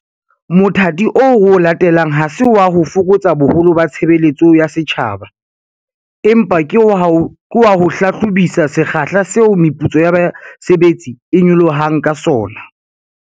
Mothati oo re o latelang ha se wa ho fokotsa boholo ba tshebeletso ya setjhaba, empa ke wa ho hlahlobisisa sekgahla seo meputso ya basebetsi e nyolohang ka sona.